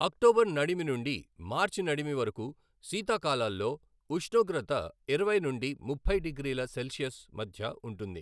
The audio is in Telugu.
అక్టోబర్ నడిమి నుండి మార్చి నడిమి వరకు శీతాకాలాల్లో ఉష్ణోగ్రత ఇరవై నుండి ముప్పై డిగ్రీల సెల్సియస్ మధ్య ఉంటుంది.